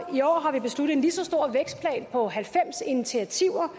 i år har vi besluttet en lige så stor vækstplan på halvfems initiativer